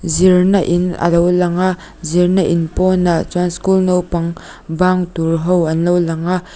zir na in alo lang a zir na in pawnah chuan school naupang bang tur ho anlo lang a.